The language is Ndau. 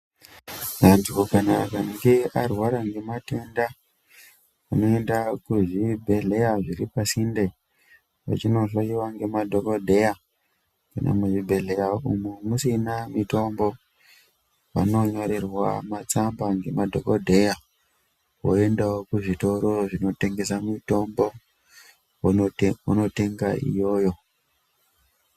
Vantu kana akange varwara ngematenda unoenda kuzvibhedhleya zviripasinde. Vachinohloiwa nemadhogodheya kana muzvibhedhleya umu musina mutombo vanonyorerwa matsamba ngemadhogodheya. Voendavo kuzvitoro zvinotengesa mitombo vonotenga iyoyo.